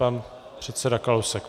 Pan předseda Kalousek.